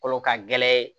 Kolo ka gɛlɛn